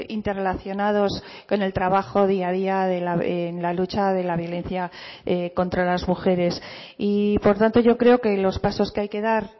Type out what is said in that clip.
interrelacionados con el trabajo día a día en la lucha de la violencia contra las mujeres y por tanto yo creo que los pasos que hay que dar